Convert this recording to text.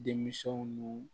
Denmisɛnw nu